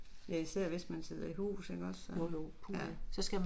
Ja især hvis man sidder i hus ikke også ja, ja